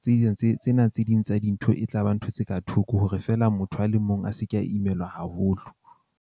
tse ding tse tsena tse ding tsa dintho e tla ba ntho tse ka thoko hore fela motho a le mong a se ke a imelwa haholo.